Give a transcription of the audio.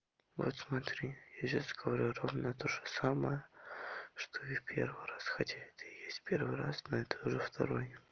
вот смотри я сейчас говорю ровно тоже самое что и в первый раз хотя это и есть первый раз но это уже второй